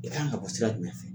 I kan ka bɔ sira jumɛn fɛ?